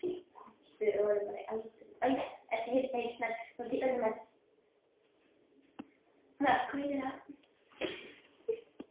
Upphaflega spurningin hljóðaði svo: Hvar fundust handritin?